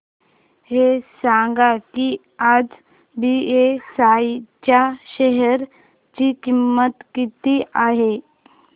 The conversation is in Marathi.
हे सांगा की आज बीएसई च्या शेअर ची किंमत किती आहे